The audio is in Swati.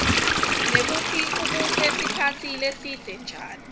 nekutsi ubuse sikhatsi lesibze njani